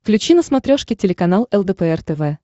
включи на смотрешке телеканал лдпр тв